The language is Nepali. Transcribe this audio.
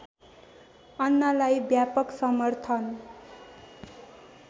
अन्नालाई व्यापक समर्थन